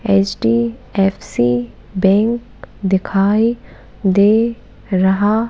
HDFC bank दिखाई दे रहा--